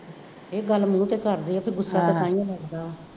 ਇਹ ਗੱਲ ਮੂੰਹ ਤੇ ਕਰਦੀ ਆ, ਗੁੱਸਾ ਤਾਂ ਤਾਂਹੀਉਂ ਲਗਦਾ ਵਾ,